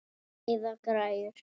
Eða græjur.